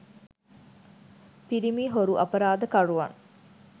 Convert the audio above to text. පිරිමි හොරු අපරාධ කරුවන්